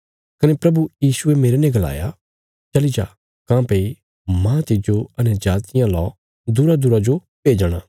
कने प्रभु यीशुये मेरने गलाया चली जा काँह्भई माह तिज्जो अन्यजातियां ला दूरादूरा जो भेजणा